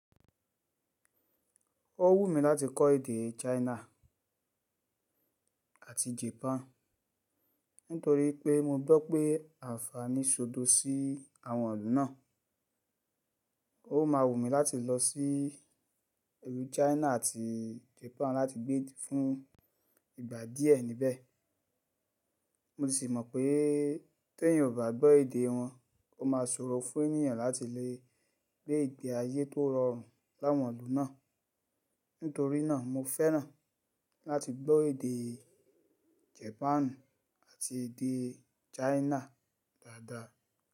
Ó wù mí láti kọ́ èdè China àti Japan nítorí pé mo gbọ́ pé àǹfàní ṣòdo sí àwọn ìlú náà. Ó máa wù mí láti lọ sí ìlú China àti Japan láti gbé fún ìgbà díẹ̀ níbẹ̀. Mo sì mọ̀ pé t'èyàn ò bá gbọ́ èdè wọn, ó máa ṣòro fún ènìyàn láti lè gbé ìgbé ayé tó rọrùn láwọn ìlú náà. Nítorí náà mo fẹ́ràn láti gbọ́ èdè Japan àti èdè China dáadáa.